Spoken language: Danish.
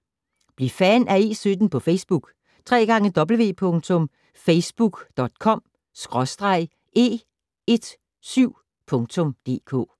Bliv fan af E17 på Facebook: www.facebook.com/e17.dk